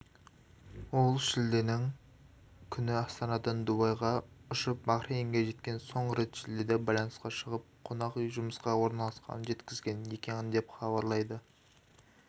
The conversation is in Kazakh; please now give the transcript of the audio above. ол шілденің күні астанадан дубайға ұшып бахрейнге жеткен соңғы рет шілдеде байланысқа шығып қонақ үйге жұмысқа орналасқанын жеткізген екен деп хабарлайды